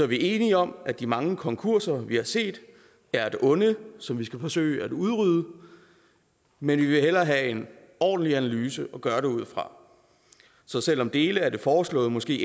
vi er enige om at de mange konkurser vi har set er et onde som vi skal forsøge at udrydde men vi vil hellere have en ordentlig analyse at gøre det ud fra så selv om dele af det foreslåede måske